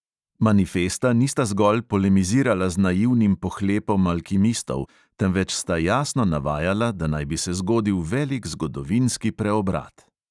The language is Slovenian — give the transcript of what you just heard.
Manifesta nista zgolj polemizirala z naivnim pohlepom alkimistov, temveč sta jasno navajala, da naj bi se zgodil velik zgodovinski preobrat.